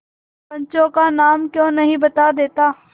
पंचों का नाम क्यों नहीं बता देता